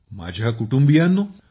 माझ्या कुटुंबियांनो